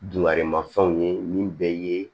Dunkarimafɛnw ye min bɛ ye